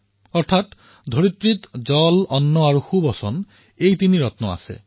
অৰ্থাৎ পৃথিৱীত জল অন্ন আৰু সুভাষিত এই তিনিটা ৰত্ন আছে